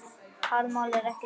Talmál er ekki skárra.